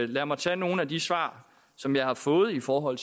lad mig tage nogle af de svar som jeg har fået i forhold